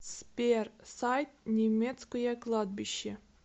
сбер сайт немецкое кладбище